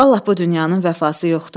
Allah bu dünyanın vəfası yoxdur.